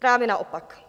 Právě naopak.